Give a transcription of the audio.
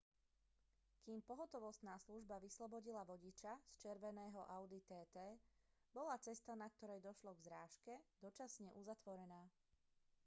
kým pohotovostná služba vyslobodila vodiča z červeného audi tt bola cesta na ktorej došlo k zrážke dočasne uzatvorená